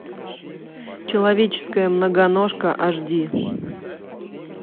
человеческая многоножка аш ди